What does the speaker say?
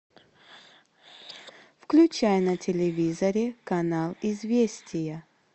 включай на телевизоре канал известия